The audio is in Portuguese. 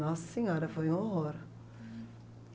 Nossa Senhora, foi um horror.